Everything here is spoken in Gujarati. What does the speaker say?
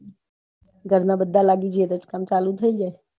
ઘર ના બધા લાગી ગયા હોઈં તો કામ જઈએ